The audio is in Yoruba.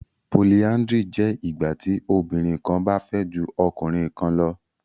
Polyandry jẹ ìgbàtí obìnrin kán bá fẹ jù ọkùnrin kán lọ